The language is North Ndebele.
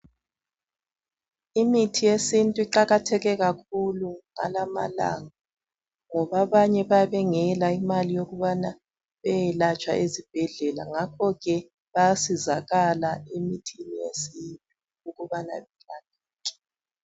Imithi yesintu iqakatheke kakhulu ngalamalanga ngoba abanye bayabe bengela imali yokubana beyelatshwa ezibhedlela ngakho ke bayasizakala emithini yesintu ukubana belapheke.